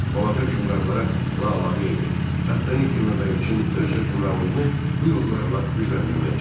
Balaca hökmdarlara lağlağı edir, taxtanı itirməmək üçün öz hökmranlığını bu yollarla gücləndirməyə çalışırdı.